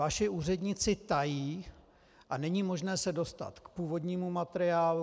Vaši úředníci tají a není možné se dostat k původnímu materiálu.